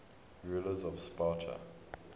rulers of sparta